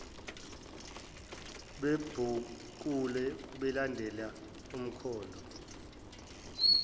bebhukula belandela umkhondo